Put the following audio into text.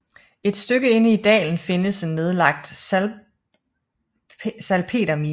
Et stykke inde i dalen findes en nedlagt salpetermine